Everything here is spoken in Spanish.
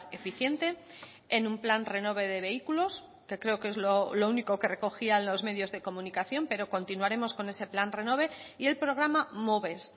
eficiente en un plan renove de vehículos que creo que es lo único que recogían los medios de comunicación pero continuaremos con ese plan renove y el programa moves